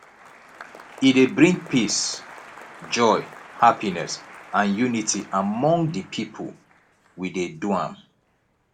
e dey bring peace joy happiness and unity among de people we de do am